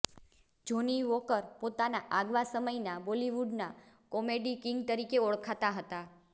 જોની Walker પોતાના આગવા સમયના બોલીવુડના કોમેડી કિંગ તરીકે ઓળખાતા હતા